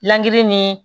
Lini ni